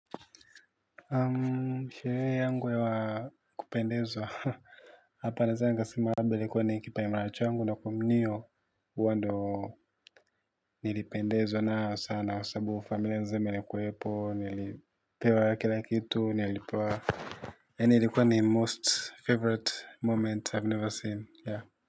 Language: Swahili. Sherehe yangu ya kupendezwa hapa naeza nikasema labda ilikuwa ni nilipendezwa sana nayo kwa saabu familia mzima ilikuwepo nilipewa kila kitu yani ilikuwa ni most favourite moment have never seen.